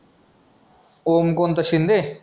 ओम कोण तो शिंदे?